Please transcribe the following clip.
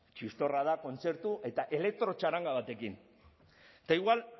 txistorra ta kontzertu eta elektro txaranga batekin eta igual